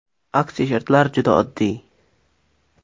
Aksiya shartlari juda oddiy.